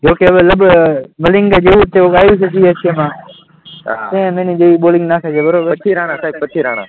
બરાબર, રાણા સાહેબ પછી રાણા